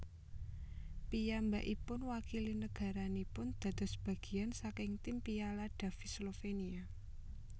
Piyambakipun wakili nagaranipun dados bagian saking tim Piala Davis Slovenia